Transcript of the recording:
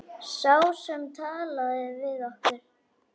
Sá sem talaði við okkur.